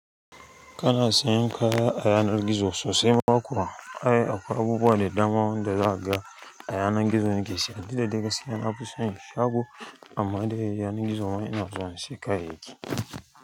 Kana sayan kaya a yanar gizo sosai ma kuwa? Ai akwai abubuwa da dama wanda za a ga a yanar gizo nake siya duk da dai gaskiya nafi san shago amma dai yanan gizo ma ina zuwa in sayi kayayyaki.